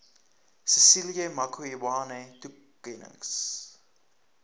cecilia makiwane toekennings